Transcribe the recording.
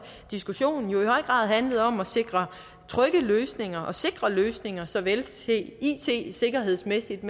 diskussionen i høj grad handlet om at sikre trygge løsninger og sikre løsninger såvel it sikkerhedsmæssigt